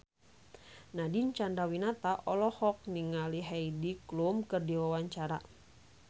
Nadine Chandrawinata olohok ningali Heidi Klum keur diwawancara